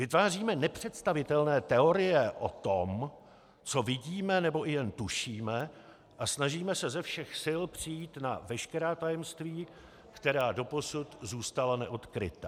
Vytváříme nepředstavitelné teorie o tom, co vidíme nebo i jen tušíme, a snažíme se ze všech sil přijít na veškerá tajemství, která doposud zůstala neodkryta.